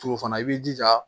Tugu fana i b'i jija